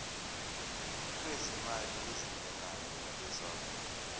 lwezimali ezingenayo abesouth